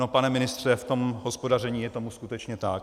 No, pane ministře, v tom hospodaření je tomu skutečně tak.